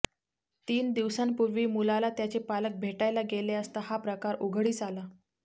तीन दिवसांपूर्वी मुलाला त्याचे पालक भेटायला गेले असता हा प्रकार उघडकीस आला